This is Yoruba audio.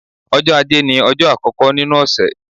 Ọjọ́ Ajé ní ọjọ́ àkọ́kọ́ nínú ọ̀sẹ̀.